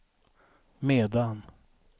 medan